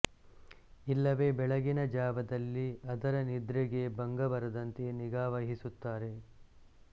ಇಲ್ಲವೇ ಬೆಳಗಿನ ಜಾವದಲ್ಲಿ ಅದರ ನಿದ್ರೆಗೆ ಭಂಗಬರದಂತೆ ನಿಗಾ ವಹಿಸುತ್ತಾರೆ